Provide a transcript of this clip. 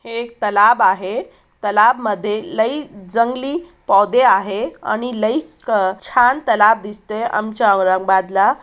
एक तलाव आहे तलावमध्ये लय जंगली पौद्धे आहे आणि लय छान तलाव दिसतय आमच्या औरंगाबाद ला --